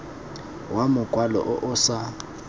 wa mokwalo o o sa